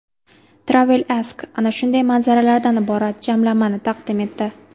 TravelAsk ana shunday manzaralardan iborat jamlanmani taqdim etdi .